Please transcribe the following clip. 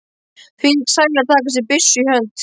Þvílík sæla að taka sér byssu í hönd.